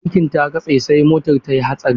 Birkin ta kasa sai motar tayi hatsari.